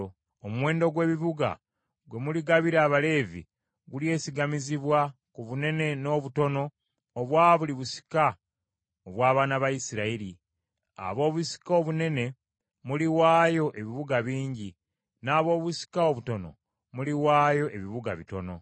Omuwendo gw’ebibuga bye muligabira Abaleevi gulyesigamizibwa ku bunene n’obutono obwa buli busika obw’abaana ba Isirayiri. Ab’obusika obunene muliwaayo ebibuga bingi, n’ab’obusika obutono muliwaayo ebibuga bitono.”